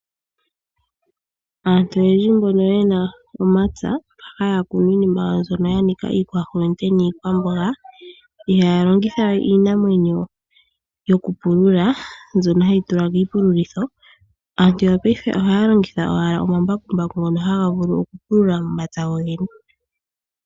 Aantu oyendji mbono yena omapya mboka haya kunu iinima yawo yanika iikwahonde niikwamboga ihaya longitha we iinamwenyo yokupulula mbyono hayi tulwa kiipululitho. Aantu yopaife ohaya longitha owala omambakumbaku ngono haga vulu okupulula momapya gogene.